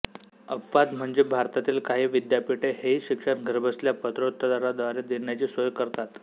अपवाद म्हणजे भारतातील काही विद्यापीठे हेही शिक्षण घरबसल्या पत्रोत्तरांद्वारे देण्याची सोय करतात